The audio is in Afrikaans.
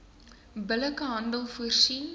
billike handel voorsien